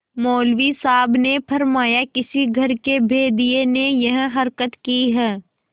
मौलवी साहब ने फरमाया किसी घर के भेदिये ने यह हरकत की है